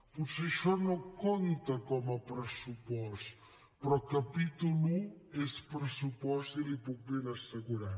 potser això no compta com a pressupost però capítol i és pressupost i l’hi puc ben assegurar